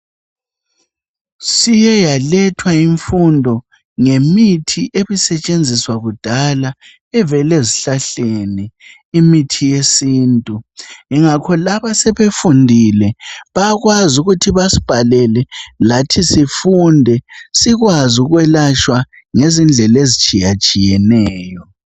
Siyeyalethwa imfundo ngemithi ebisatshenziswa kudala evela ezihlahleni imithi yesintu yingakho laba abasebefundile yakwazi ukuthi besibhalele lathi sifunde sikwazi ukwelatshwa ngendlela ezitshiyetshiyeneyo